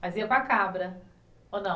Mas ia com a cabra, ou não?